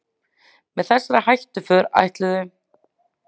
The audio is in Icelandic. Með þessari hættuför ætluðu